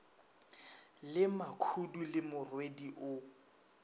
le makhudu le morwedi o